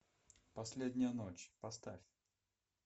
последняя ночь поставь